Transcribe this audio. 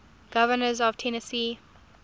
governors of tennessee